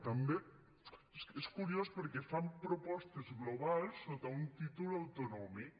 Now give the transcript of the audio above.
també és curiós perquè fan propostes globals sota un títol autonòmic